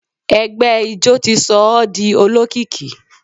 Ẹgbẹ ijó ti sọ ọ́ di olókìkí.